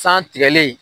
San tigɛlen